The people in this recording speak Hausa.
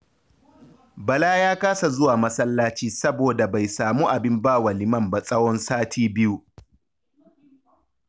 Bala ya kasa zuwa masallaci saboda bai samu abin ba wa liman ba tsahon sati biyu